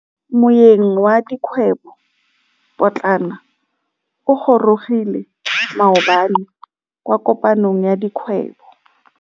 Moêng wa dikgwêbô pôtlana o gorogile maabane kwa kopanong ya dikgwêbô.